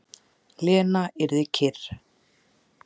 Lena yrði kyrr.